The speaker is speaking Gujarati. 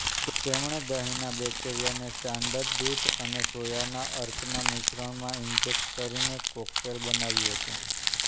તેમણે દહીંના બેક્ટેરિયાને સ્ટાન્ડર્ડ દૂધ અને સોયાના અર્કના મિશ્રણમાં ઇન્જેક્ટ કરીને કોકટેલ બનાવ્યું હતું